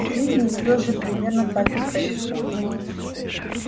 в жизни всё же примерно так и происходит